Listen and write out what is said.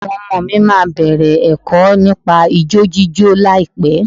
Àwọn ọmọ mi máa bẹ̀rẹ̀ ẹ̀kọ́ nípa ijó jíjó láìpẹ́.